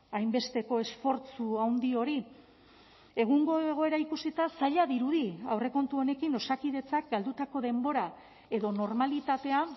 hainbesteko esfortzu handi hori egungo egoera ikusita zaila dirudi aurrekontu honekin osakidetzak galdutako denbora edo normalitatea